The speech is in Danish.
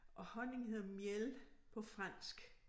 Og honning hedder miel på fransk